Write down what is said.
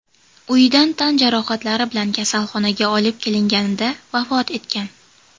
uyidan tan jarohatlari bilan kasalxonaga olib kelinganida vafot etgan.